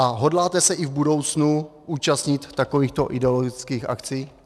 A hodláte se i v budoucnu účastnit takovýchto ideologických akcí?